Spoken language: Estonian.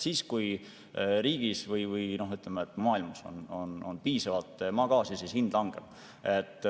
Kui riigis või, ütleme, maailmas on maagaasi piisavalt, siis hind langeb.